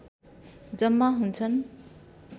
जम्मा हुन्छन्